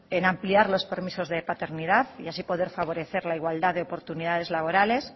en ampliar los permisos de paternidad y así poder favorecer la igualdad de oportunidades laborales